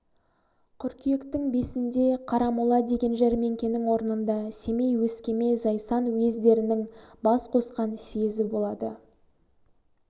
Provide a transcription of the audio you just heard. қыркүйектің бесінде қарамола деген жәрмеңкенің орнында семей өскеме зайсан уездерінің бас қосқан съезі болады